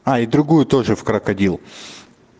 а и другую тоже в крокодил